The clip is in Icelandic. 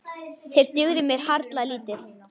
Þeir dugðu mér harla lítið.